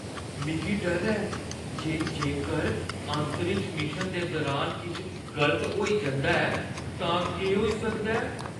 मिगी डर ऐ जे जेकर अंतरिक्ष मिशन दे दुरान किश गलत होई जंदा ऐ तां केह् होई सकदा ऐ।